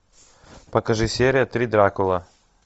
покажи серия три дракула